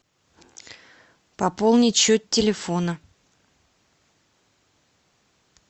пополнить счет телефона